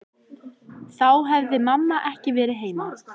Þá hefði mamma ekki verið heima.